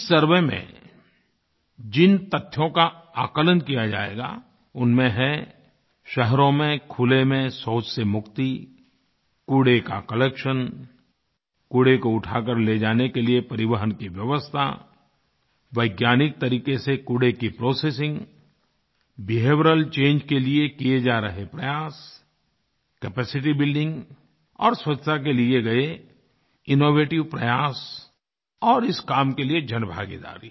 इस सर्वे में जिन तथ्यों का आकलन किया जाएगा उनमें हैं शहरों में खुले में शौच से मुक्ति कूड़े का कलेक्शन कूड़े को उठा कर ले जाने के लिए परिवहन की व्यवस्था वैज्ञानिक तरीक़े से कूड़े की प्रोसेसिंग बिहेवियरल चंगे के लिए किए जा रहे प्रयास कैपेसिटी बिल्डिंग और स्वच्छता के लिए किये गए इनोवेटिव प्रयास और इस काम के लिए जनभागीदारी